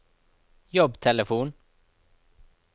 jobbtelefon